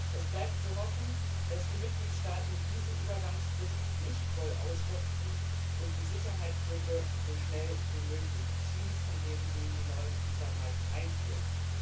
Es bleibt zu hoffen, dass die Mitgliedstaaten diese Übergangsfrist nicht voll ausschöpfen und die Sicherheitslücke so schnell wie möglich schließen, indem sie die neuen Visummarken einführen.